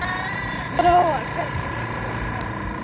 Lóa: Hvernig líst þér á?